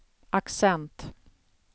accent